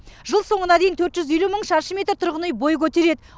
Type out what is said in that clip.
жыл соңына дейін төрт жүз елу мың шаршы метр тұрғын үй бой көтереді